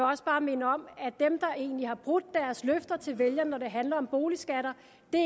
også bare minde om at dem der egentlig har brudt deres løfter til vælgerne når det handler om boligskatter